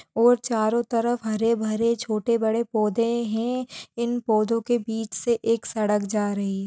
और चारों तरफ हरे भरे छोटे बड़े पौधे है इन पौधों के बीच से एक सड़क जा रही।